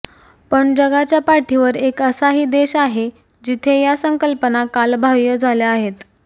पण जगाच्या पाठीवर एक असा ही देश आहे जिथे या संकल्पना कालबाह्य झाले आहेत